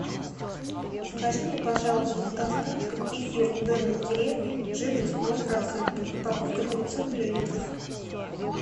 закажи мне пожалуйста с доставкой кефир домик в деревне жирность ноль процентов упаковка девятьсот миллилитров